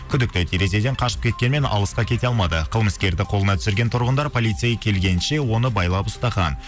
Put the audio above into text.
күдікті терезеден қашып кеткенмен алысқа кете алмады қылмыскерді қолына түсірген тұрғындар полицей келгенше оны байлап ұстаған